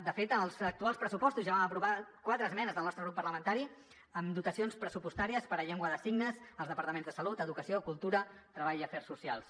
de fet en els actuals pressupostos ja vam aprovar quatre esmenes del nostre grup parlamentari amb dotacions pressupostàries per a llengua de signes als departaments de salut educació cultura i treball i afers socials